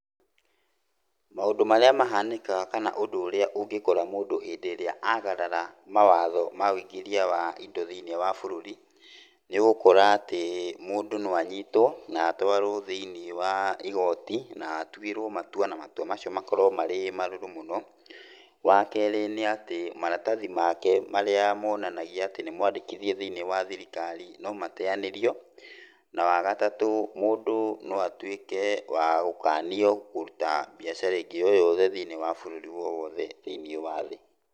Maũndũ marĩa mahanĩkaga kana ũndũ ũrĩa ũngĩkora mũndũ hĩndĩ ĩrĩa agarara mawatho ma wũingirĩa wa indo thiĩniĩ wa bũrũri, nĩ ũgũkora atĩ mũndũ no anyitwo na twarwo thĩiniĩ wa gioti, na atũĩrwo matua, na matua macio makorwo marĩ marũrũ mũno. Wa kerĩ nĩ atĩ maratathi make marĩa maonanagia atĩ nĩ mwandĩkithie thĩiniĩ wa thirikari no mateanĩrio, na wa gatatũ, mũndũ no atuĩke wa gũkanio kũruta mbiacara ĩngĩ yoyothe thĩiniĩ wa bũrũri wowothe thĩiniĩ wa thĩ.